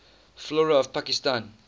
flora of pakistan